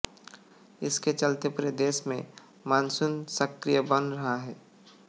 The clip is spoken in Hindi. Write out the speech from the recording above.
इसके चलते पूरे देश में मानसून सक्रिय बन रहा है